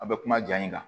A bɛ kuma ja in kan